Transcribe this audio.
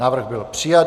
Návrh byl přijat.